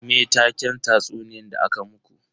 Me taken tatsuniyan da aka muku?